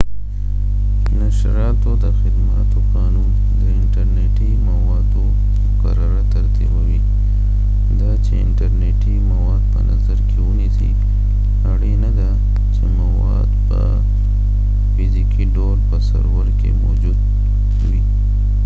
نشراتو د خدماتو قانون د انټر نټی موادو مقرره ترتیبوي. دا چې انټر نیټی مواد په نظر کې ونیسی ،اړینه ده چې مواد په فزیکې ډول په سرور کې موجود وي